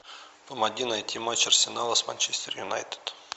помоги найти матч арсенала с манчестер юнайтед